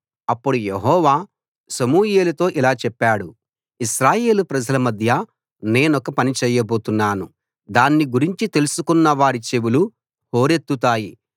అప్పుడు యెహోవా సమూయేలుతో ఇలా చెప్పాడు ఇశ్రాయేలు ప్రజల మధ్య నేనొక పని చేయబోతున్నాను దాన్ని గురించి తెలుసుకున్నవారి చెవులు హోరెత్తుతాయి